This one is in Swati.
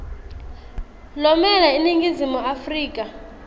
lomele iningizimu afrika